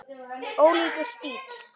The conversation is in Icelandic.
Ólíkur stíll.